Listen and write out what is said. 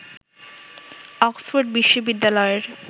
Oxford বিশ্ববিদ্যালয়ের